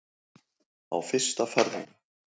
Á fyrsta farrými.